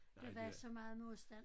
Der var så meget modstand